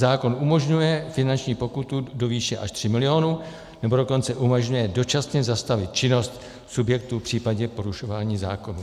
Zákon umožňuje finanční pokutu do výše až 3 miliony, nebo dokonce umožňuje dočasně zastavit činnost subjektu v případě porušování zákonů.